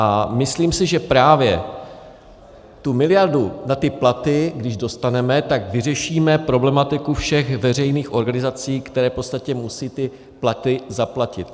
A myslím si, že právě tu miliardu na ty platy, když dostaneme, tak vyřešíme problematiku všech veřejných organizací, které v podstatě musí ty platy zaplatit.